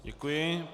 Děkuji.